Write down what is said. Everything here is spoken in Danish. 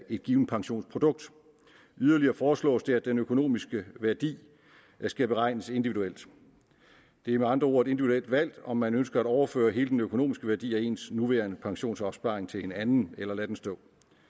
et givent pensionsprodukt yderligere foreslås det at den økonomiske værdi skal beregnes individuelt det er med andre ord et individuelt valg om man ønsker at overføre hele den økonomiske værdi af ens nuværende pensionsopsparing til en anden eller lade den stå